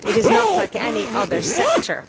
It is not like any other sector.